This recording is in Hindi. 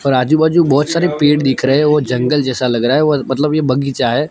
और आजू बाजू बहोत सारे पेड़ दिख रहे हैं ओ जंगल जैसा लग रहा है व मतलब ये बगीचा है।